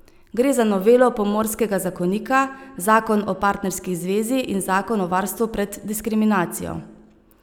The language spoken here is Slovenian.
Gre za novelo pomorskega zakonika, zakon o partnerski zvezi in zakon o varstvu pred diskriminacijo.